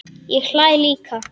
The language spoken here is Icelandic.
Ég hlæ líka.